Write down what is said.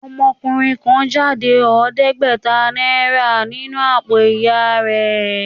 Ọmọkùnrin kan jáde ọ̀ọ́dẹ́gbẹ̀tà náírà nínú àpò ìyà rẹ̀